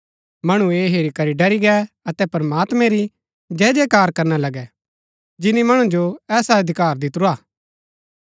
मणु ऐह हेरी करी डरी गै अतै प्रमात्मैं री जयजयकार करणा लगै जिनी मणु जो ऐसा अधिकार दितुरा हा